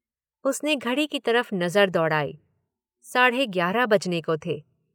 उसने घड़ी की तरफ नजर दौड़ाई— साढ़े ग्यारह बजने को थे।